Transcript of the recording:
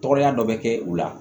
Tɔgɔya dɔ bɛ kɛ u la